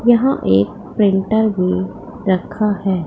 यहां एक प्रिंटर भी रखा है।